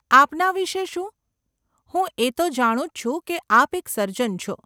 આપના વિષે શું? હું એ તો જાણું જ છું કે આપ એક સર્જન છો.